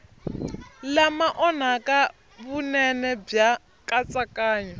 lama onhaka vunene bya nkatsakanyo